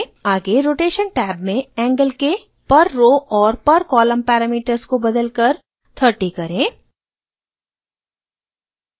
आगे rotation tab में angle के per row और per column parameters को बदलकर 30 करें